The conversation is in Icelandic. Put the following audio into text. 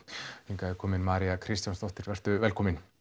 hingað er komin María Kristjánsdóttir vertu velkomin